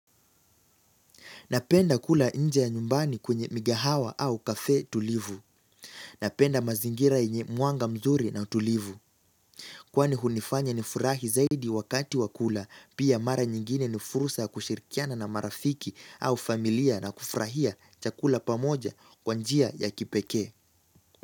Napenda kula inje ya nyumbani kwenye migahawa au kafee tulivu. Napenda mazingira yenye mwanga mzuri na tulivu. Kwani hunifanya nifurahi zaidi wakati wa kula pia mara nyingine ni fursa ya kushirikiana na marafiki au familia na kufurahia chakula pamoja kwa njia ya kipekee.